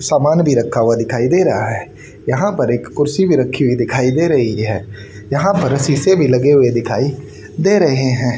सामान भी रखा हुआ दिखाई दे रहा है यहां पर एक कुर्सी भी रखी हुई दिखाई दे रही है यहां पर शीशे भी लगे हुए दिखाई दे रहे हैं।